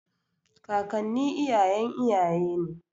Kakanni iyayen iyaye ne.